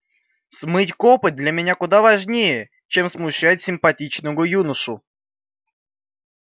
смыть копоть для меня куда важнее чем смущать симпатичного юношу